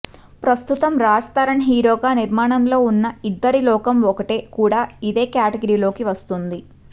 ప్రస్తుతం రాజ్ తరుణ్ హీరోగా నిర్మాణంలో ఉన్న ఇద్దరి లోకం ఒకటే కూడా ఇదే క్యాటగిరీలోకి వస్తుంది